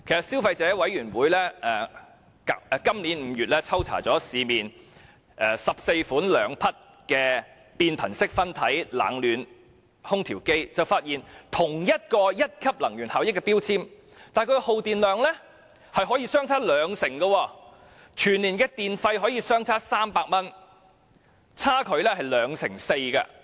消費者委員會在今年5月抽查了市面14款兩匹變頻式分體冷暖空調機，結果發現即使屬於同一級能源標籤，但耗電量卻可以相差兩成，全年電費相差高達300元，差距是 24%。